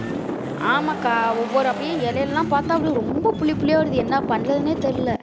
ஆமாக்கா ஒவ்வொரு அப்படியே இலையெல்லாம் பாத்தா அப்படியே ரொம்ப புள்ளி புள்ளியா வருது என்ன பண்ணறதுன்னே தெரில